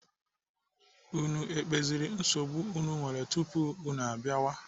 Unu ekpeziri nsogbu unu nwere tupu unu abịawa?